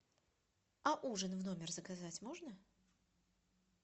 а ужин в номер заказать можно